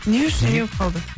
не үшін не болып қалды